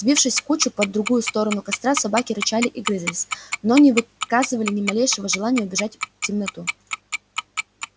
сбившись в кучу по другую сторону костра собаки рычали и грызлись но не выказывали ни малейшего желания убежать в темноту